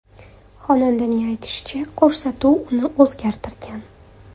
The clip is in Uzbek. Xonandaning aytishicha, ko‘rsatuv uni o‘zgartirgan.